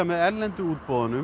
með erlendu útboðunum